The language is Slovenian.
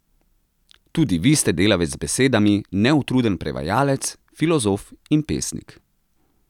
Tudi vi ste delavec z besedami, neutruden prevajalec, filozof in pesnik.